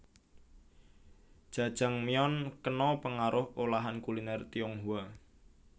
Jajangmyeon kena pengaruh olahan kuliner Tionghoa